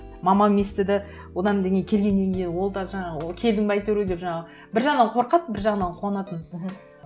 мамам естіді одан да не келгеннен кейін ол да жаңағы келдің бе әйтеуір деп жаңағы бір жағынан қорқады бір жағынан қуанатын мхм